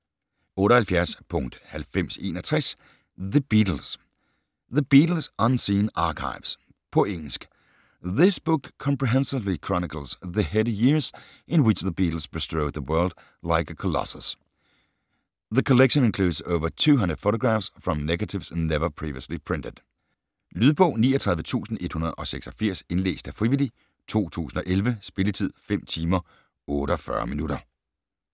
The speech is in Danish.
78.9061 The Beatles The Beatles: unseen archives På engelsk. This book comprehensively chronicles the heady years in which the Beatles bestrode the world like a colossus. The collection includes over 200 photographs from negatives never previously printed. Lydbog 39186 Indlæst af frivillig, 2011. Spilletid: 5 timer, 48 minutter.